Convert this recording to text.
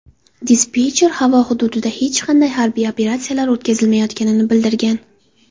Dispetcher havo hududida hech qanday harbiy operatsiyalar o‘tkazilmayotganini bildirgan.